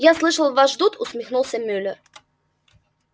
я слышал вас ждут усмехнулся мюллер